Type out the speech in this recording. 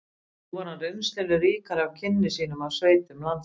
Nú var hann reynslunni ríkari eftir kynni sín af sveitum landsins